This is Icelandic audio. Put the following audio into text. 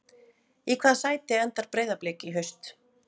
Í hvaða sæti endar Breiðablik í haust?